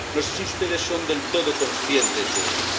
No sé si ustedes son del todo conscientes de eso.